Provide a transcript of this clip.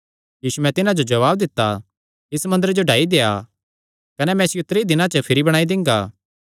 यीशुयैं तिन्हां जो जवाब दित्ता इस मंदरे जो ढाई देआ कने मैं इसियो त्रीं दिनां च भिरी बणाई दिंगा